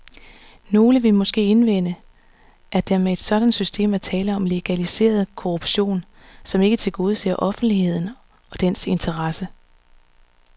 Nogle vil måske indvende, at der med et sådant system er tale om legaliseret korruption, som ikke tilgodeser offentligheden og dens interesser.